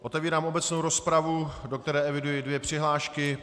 Otevírám obecnou rozpravu, do které eviduji dvě přihlášky.